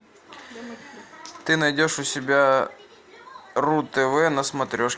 ты найдешь у себя ру тв на смотрешке